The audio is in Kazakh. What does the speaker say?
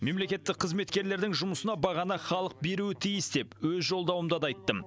мемлекеттік қызметкерлердің жұмысына бағаны халық беруі тиіс деп өз жолдауымда да айттым